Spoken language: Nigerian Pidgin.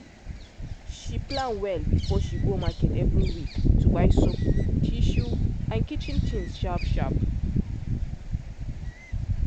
she plan well before she go market every week to buy soap tissue and kitchen things sharp sharp